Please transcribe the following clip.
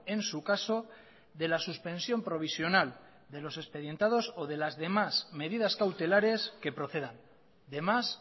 en su caso de la suspensión provisional de los expedientados o de las demás